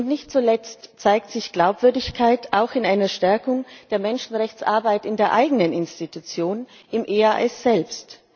Nicht zuletzt zeigt sich Glaubwürdigkeit auch in einer Stärkung der Menschenrechtsarbeit in der eigenen Institution, im EAD selbst.